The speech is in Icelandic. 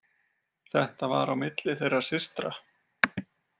Þetta var á milli þeirra systra.